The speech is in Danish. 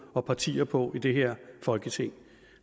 og partier på i det her folketing